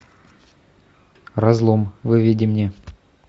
разлом выведи мне